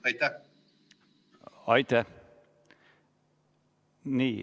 Aitäh!